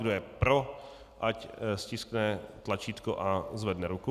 Kdo je pro, ať stiskne tlačítko a zvedne ruku.